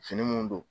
Fini mun don